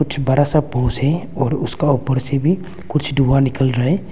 जो बड़ा सा भुज है और उसका ऊपर से भी कुछ धुआं निकल रहा है।